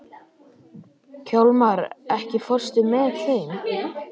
Hjálmar, ekki fórstu með þeim?